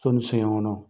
So ni so ɲɛkɔnɔ